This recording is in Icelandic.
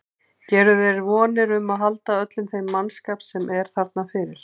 Gerirðu þér vonir um að halda öllum þeim mannskap sem er þarna fyrir?